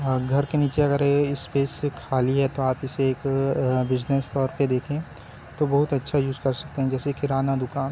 अ घर के निचे अगर ये स्पेस खाली हैं तो आप इसे एक बिज़नेस तौर पे देखें तो बहोत अच्छा यूज़ कर सकते हैं जैसे किराना दुकान --